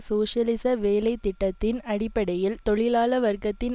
சோசியலிச வேலை திட்டத்தின் அடிப்படையில் தொழிலாள வர்க்கத்தை